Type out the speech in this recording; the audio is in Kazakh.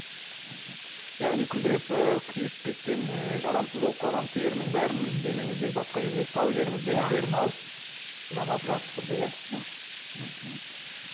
яғни күлдіреп ы күйіп кеткен ы жарамсыз болып қалған терінің бәрін денеңіздегі басқа жердегі сау жеріңіздегі теріні алып жамап жабыстырды иә иә мхм